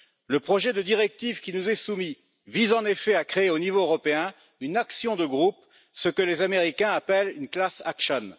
Le projet de directive qui nous est soumis vise en effet à créer au niveau européen une action de groupe, ce que les Américains appellent une class action